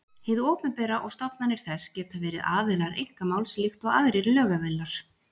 Hið opinbera og stofnanir þess geta verið aðilar einkamáls líkt og aðrir lögaðilar.